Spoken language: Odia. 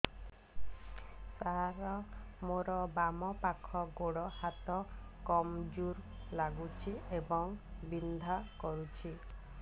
ସାର ମୋର ବାମ ପାଖ ଗୋଡ ହାତ କମଜୁର ଲାଗୁଛି ଏବଂ ବିନ୍ଧା କରୁଛି